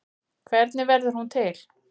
Hvernig verður hún til?